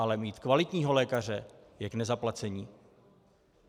Ale mít kvalitního lékaře je k nezaplacení.